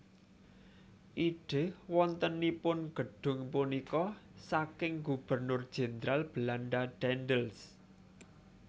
Ide wontenipun gedhung punika saking Gubernur Jenderal Belanda Daendels